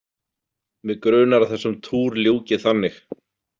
Mig grunar að þessum túr ljúki þannig.